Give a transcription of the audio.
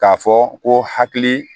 K'a fɔ ko hakili